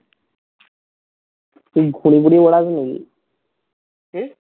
তুই ঘুড়ি টুরি ওরাস নাকি? কি?